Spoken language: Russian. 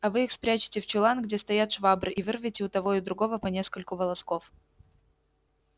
а вы их спрячете в чулан где стоят швабры и вырвете у того и у другого по нескольку волосков